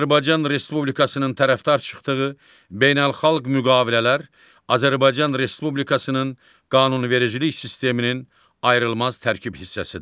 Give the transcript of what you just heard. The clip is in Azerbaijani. Azərbaycan Respublikasının tərəfdar çıxdığı beynəlxalq müqavilələr Azərbaycan Respublikasının qanunvericilik sisteminin ayrılmaz tərkib hissəsidir.